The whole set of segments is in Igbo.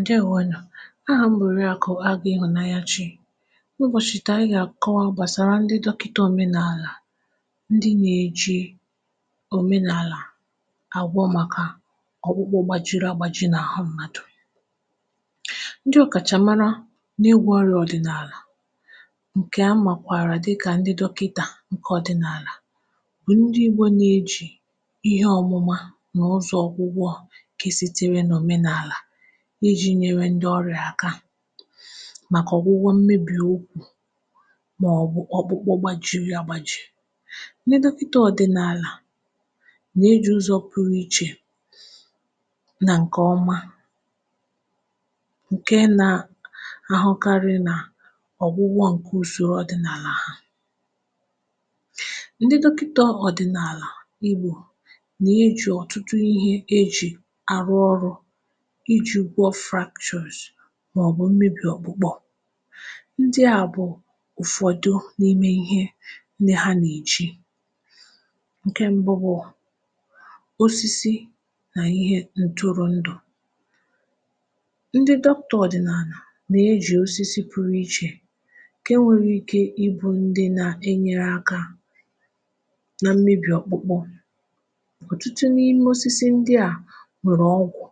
Ndeewònu, aha m bụ̀ Oriaku Ihụ̀nanyachi. Ubọ̀chì taa anyị gà àkọwa gbàsara ndị dọkịta òmenàlà, ndị nà-èji òmenàlà àgwọ màkà ọ̀gbụgbọ gbàjìrì àgbàjì n’àhụ m̀madụ̀. Ndị ọ̀kàchà mara n’ịgwo ọrịa ọdị̀nàlà ǹkẹ̀ a màkwàrà dịkà ndị dọkịtà ǹkẹ̀ ọ̀dị̀nàlà bụ̀ ndị ịgbọ̇ na-ejì ihe ọmụma nà ụzọ̇ ọgwụgwọ̇ nke sitere na omenala iji nyewe ndị ọrịa aka, màkà ọ̀gwụgwọ mmebì ukwu̇ màọbụ ọ̀gbụkpọ gbajiri àgbàjì, nde dokita ọ̀dị̀nàlà nà-eji̇ ụzọ̇ pụrụ ichè nà ǹkèọma ǹke na-ahụkarị nà ọ̀gwụgwọ ǹkè usoro ọ̀dị̀nàlà ɦa. Ndɪ̀ dokɪtà ọ̀dị̀nàlà ịgbo nà-eji ọ̀tụtụ ihe eji àrụ ọrụ iji gwọọ fractures maọbụ mmebì ọkpụkpọ. Ndị a bụ ụfọdụ n’ime ihe ndị ha nà-eji, ǹkẹ̀ mbụ bụ̀ osisi nà ihe ntụrụndụ, ndị doctor ọ̀dị̀nàlà nà-eji osisi pụrụ iche ǹkẹ̀ nwere ike ịbụ ndị nȧ-enyere aka nà mmebi ọkpụkpọ, otụtụ n’ime osisi ndị a nwere ọgwụ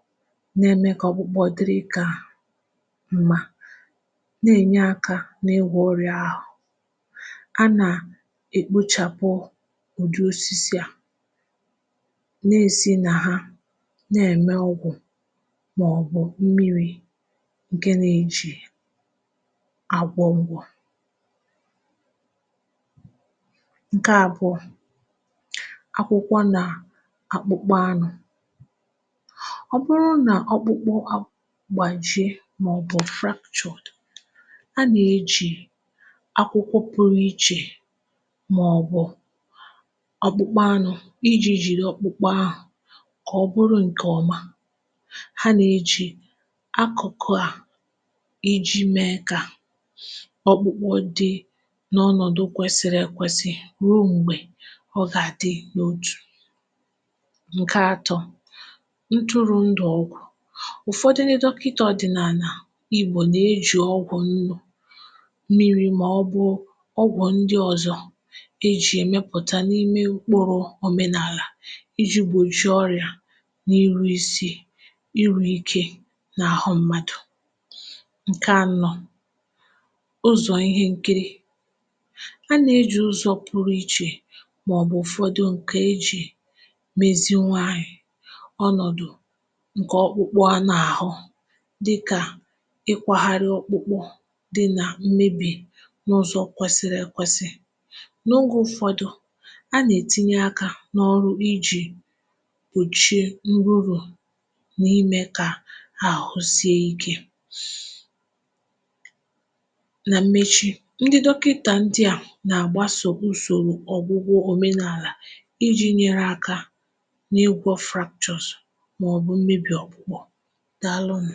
na-eme ka ọkpụkpụ diri ka m̀ma, na-enye aka n’igwo ọrịa ahụ̀, a nà-ekpochàpụ ụ̀dị osisi à nà-èsi nà ha na-ème ogwụ̀ màọbụ̀ mmiri̇ ǹkẹ nà-ejì àgwọ ogwugwọ̇. Nkẹ̀ abụọ, akwụkwọ nà akpụkpọ anụ, ọ́bụrụ na ọkpụkpụ gbajie, màọbụ̀ fratuadu, a nà-eji akwụkwọ pụrụ ichè màọbụ̇ ọkpụkpọ anụ iji jiri ọkpụkpọ ahụ kà ọ bụrụ ǹkẹ̀ ọma. ha nà-eji akụkụ ha iji mee kà ọkpụkpọ dị n’ọnọdụ kwesiri ekwesi ruo m̀gbè ọ gà-adị n’otu. Nkẹ̀ atọ, ntụrụ ndụ ọgwụ̀, ụfọdụ ndị dọkịta ọ̀dị̀nàlà igbò nà-eji ọgwụ̇ nnu, mmiri̇ màọ̀bụ̀ ọgwụ̀ ndị ọ̀zọ e ji e mepụta n’ime ụkpụrụ òmenàlà iji gbòjiri ọrịà n’ihu isi iru ike nà-àhụ mmadụ̀. Nkẹ̀ ànọ ụzọ̀ ihe nkịrị, a nà-eji ụzọ̀ pụrụ ichè màọbụ̀ ụfọdụ ǹkẹ̀ e ji meziwanye ọnọ̀dụ̀ ǹkẹ̀ ọkpụkpụ a nà-àhụ dika ịkwàgharị ọkpụkpụ dị nà mmebì n’ụzọ kwesiri ekwesì, n’oge ụfọdụ, a nà-etinye akȧ n’ọrụ iji̇ gbochie nrụ̇ru nà imè kà àhụ sie ikė. nà mmechi, ndị dọkịta ndị a nà-agbàsò usoro ọ̀gwụgwọ òmenàlà iji̇ nyere akȧ n’ịgwọ̇ fractures maọ̀bụ̀ mmebì ọ̀kpụ̀kpọ̀. Daalụ u.